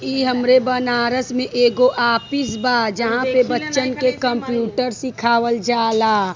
इ हमारे बनारस में एगो आपिस बा जहां पे बच्चन के कंप्यूटर सिखावल जाला।